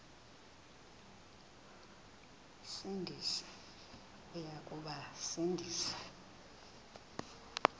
sindisi uya kubasindisa